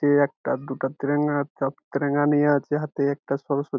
এ একটা দুটা তিরঙ্গা তিরঙ্গা নিয়ে আছে | হাতে একটা সরস্বতী |